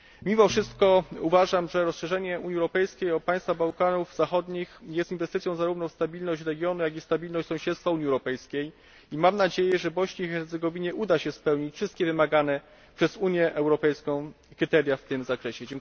Mimo wszystko uważam, że rozszerzenie Unii Europejskiej o państwa Bałkanów Zachodnich jest inwestycją zarówno w stabilność regionu, jak i w stabilność sąsiedztwa Unii Europejskiej, i mam nadzieję, że Bośni i Hercegowinie uda się spełnić wszystkie wymagane przez Unię Europejską kryteria w tym zakresie.